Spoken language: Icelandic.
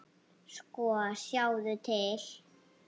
Sko, sjáðu til.